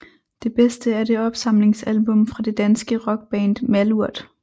Det bedste er det opsamlingsalbum fra det danske rockband Malurt